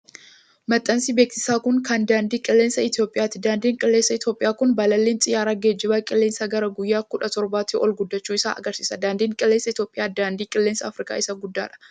Maxxansi beeksisaa kun, kan daandii qilleensaa Itoophiyaati. Daandiin qilleensaa Itoophiyaa kun, balalliin xiyyaara geejiba qilleensaa gara guyyaa kudha torbaatti ol guddachuuu isaa agarsiisa. Daandii qilleensaa Itoophiyaa daandii qilleensaa Afrikaa isa guddaa dha.